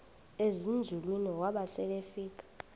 ezinzulwini waba selefika